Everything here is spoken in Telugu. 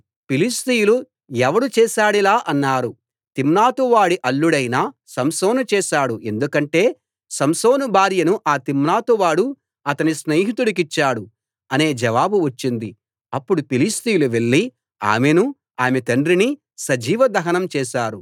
ఫిలిష్తీయులు ఎవడు చేసాడిలా అన్నారు తిమ్నాతు వాడి అల్లుడైన సంసోను చేశాడు ఎందుకంటే సంసోను భార్యను ఆ తిమ్నాతు వాడు అతని స్నేహితుడికిచ్చాడు అనే జవాబు వచ్చింది అప్పుడు ఫిలిష్తీయులు వెళ్లి ఆమెనూ ఆమె తండ్రినీ సజీవ దహనం చేశారు